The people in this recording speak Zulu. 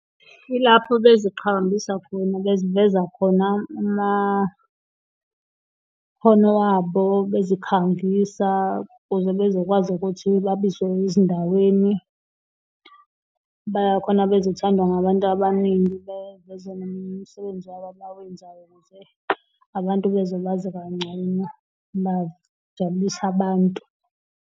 Ilapho beziqhakambisa khona, beziveza khona amakhono wabo bezikhangisa, ukuze bezokwazi ukuthi babizwe ezindaweni. Khona bezothandwa ngabantu abaningi, beveze nomsebenzi wabo abawenzayo ukuze abantu bezobazi kangcono bajabulise abantu.